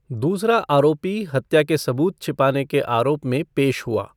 दूसरा आरोपी हत्या के सबूत छिपाने के आरोप में पेश हुआ।